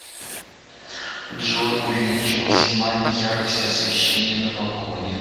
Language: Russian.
джой увеличь максимально яркость освещения на балконе